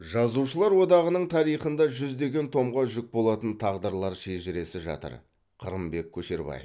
жазушылар одағының тарихында жүздеген томға жүк болатын тағдырлар шежіресі жатыр қырымбек көшербаев